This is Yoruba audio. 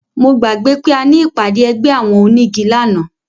Mo gbàgbé pé a ní ìpàdé ẹgbẹ́ àwọn onígi lánàá